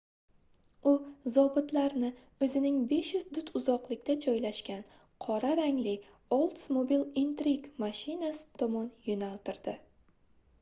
u zobitlarni oʻzining 500 dut uzoqda joylashgan qora rangli oldsmobile intrigue mashinasi tomon yoʻnaltirdi